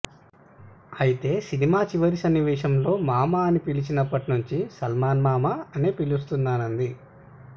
అయితే సినిమా చివరి సన్నివేశంలో మామా అని పిలిచినప్పటి నుంచి సల్మాన్ మామ అనే పిలుస్తున్నానంది